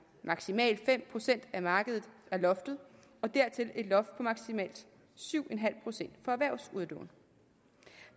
maksimalt fem procent af markedet er loftet og dertil et loft på maksimalt syv procent for erhvervsudlån